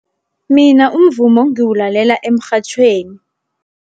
Mina umvumo ngiwulalela emrhatjhweni.